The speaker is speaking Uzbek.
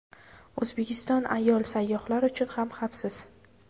O‘zbekiston ayol sayyohlar uchun ham xavfsiz.